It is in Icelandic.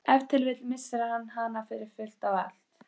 Ef til vill missir hann hana fyrir fullt og allt.